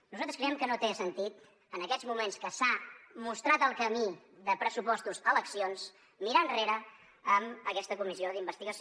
nosaltres creiem que no té sentit en aquests moments que s’ha mostrat el camí de pressupostos a eleccions mirar enrere amb aquesta comissió d’investigació